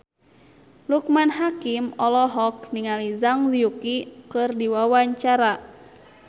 Loekman Hakim olohok ningali Zhang Yuqi keur diwawancara